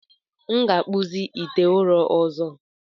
M ga-akpụzi ite ụrọ ọzọ.